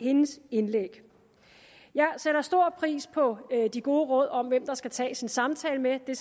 hendes indlæg jeg sætter stor pris på de gode råd om hvem der skal tages en samtale med det